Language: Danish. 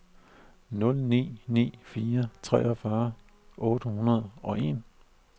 nul ni ni fire treogfyrre otte hundrede og en